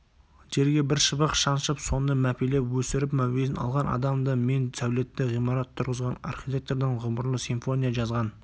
жерге бір шыбық шаншып соны мәпелеп өсіріп мәуесін алған адамды мен сәулетті ғимарат тұрғызған архитектордан ғұмырлы симфония жазған